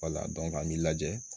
an b'i lajɛ